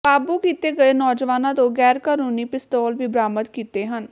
ਕਾਬੂ ਕੀਤੇ ਗਏ ਨੌਜਵਾਨਾਂ ਤੋਂ ਗ਼ੈਰਕਾਨੂੰਨੀ ਪਿਸਤੌਲ ਵੀ ਬਰਾਮਦ ਕੀਤੇ ਹਨ